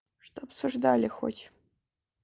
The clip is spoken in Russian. что обсуждали хоть